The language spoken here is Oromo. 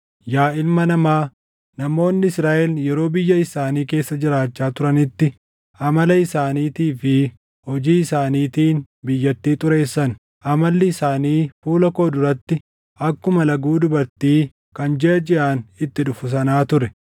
“Yaa ilma namaa, namoonni Israaʼel yeroo biyya isaanii keessa jiraachaa turanitti amala isaaniitii fi hojii isaaniitiin biyyattii xureessan. Amalli isaanii fuula koo duratti akkuma laguu dubartii kan jiʼa jiʼaan itti dhufu sanaa ture.